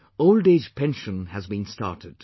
Old age pension has been started